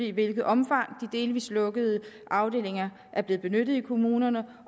i hvilket omfang de delvis lukkede afdelinger er blevet benyttet i kommunerne